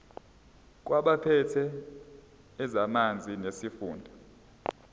kwabaphethe ezamanzi nesifunda